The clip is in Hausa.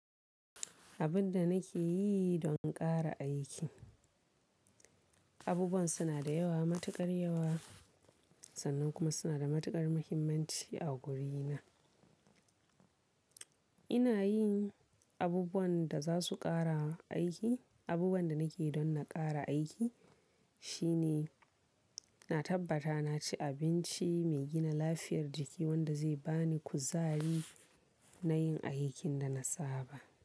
Abin da nake yi don ƙara aiki, abubuwan suna da yawa, matuƙar yawa sannan kuma suna da matuƙar muhimmanci a guri na. Ina yin abubuwan da za su ƙara aiki, abubuwan da nake don na ƙara aiki shine, na tabbata na ci abinci mai gina lafiyar jiki wanda zai ba ni kuzari na yin aikin da na saba.